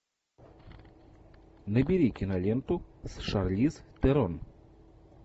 набери киноленту с шарлиз терон